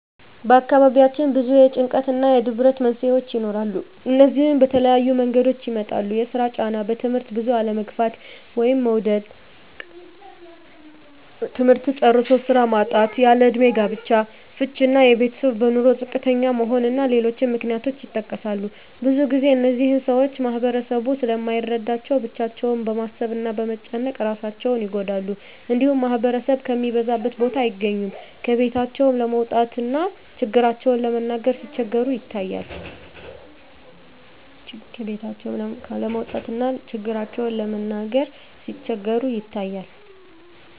በአካባቢያችን ብዙ የጭንቀት እና የድብርት መንስሄዎች ይኖራሉ። እነዚህም በተለያየ መንገዶች ይመጣሉ የስራ ጫና; በትምህርት ብዙ አለመግፋት (መዉደቅ); ትምህርት ጨርሶ ስራ ማጣት; ያለእድሜ ጋብቻ; ፍች እና የቤተሰብ በኑሮ ዝቅተኛ መሆን እና ሌሎችም ምክንያቶች ይጠቀሳሉ። ብዙ ግዜ እነዚህን ሰወች ማህበረሰቡ ስለማይረዳቸው ብቻቸውን በማሰብ እና በመጨነቅ እራሳቸውን ይጎዳሉ። እንዲሁም ማህበረሰብ ከሚበዛበት ቦታ አይገኙም። ከቤታቸውም ለመውጣት እና ችግራቸውን ለመናገር ሲቸገሩ ይታያሉ።